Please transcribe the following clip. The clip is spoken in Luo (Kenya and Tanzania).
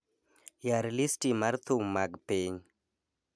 Yar listi mar thum mag piny